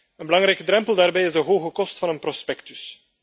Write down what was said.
Een belangrijke drempel daarbij is de hoge kost van een prospectus.